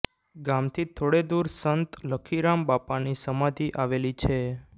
ગામથી થોડે દૂર સંત લખીરામ બાપાની સમાધી આવેલી છે